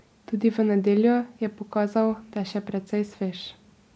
Tudi v nedeljo je pokazal, da je še precej svež.